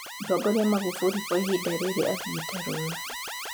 Mũtongori Maghufuli kwa ĩbida rĩrĩ athiete rũtha